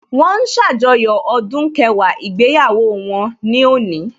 Wọ́n ń ṣàjọyọ̀ ọdún kẹwàá ìgbéyàwó wọn ní òní